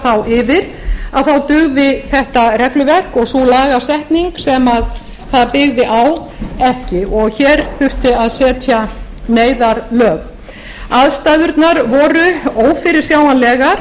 þá yfir þá dugði þetta regluverk og sú lagasetning sem það byggði á ekki og hér þurfti að setja neyðarlög aðstæðurnar voru ófyrirsjáanlegar